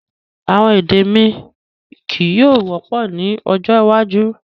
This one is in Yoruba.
Awọn èdè mi kíí yọ̀ọ̀ wọ́pọ̀ ni ọjọ́ iwájú